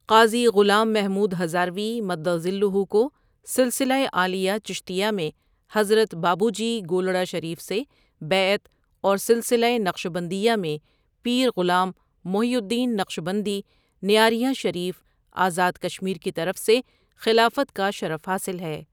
قاضی غلام محمود ہزاروی مدظلہ کو سلسلۂ عالیہ چشتیہ میں حضرت بابو جی گولڑہ شریف سے بیعت اور سلسلۂ نقشبندیہ میں پیر غلام محی الدّین نقشبندی نیاریاں شریف آزاد کشمیر کی طرف سے خلافت کا شرف حاصل ہے۔